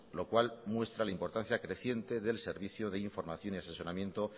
lo cual muestra la importancia creciente del servicio de información y asesoramiento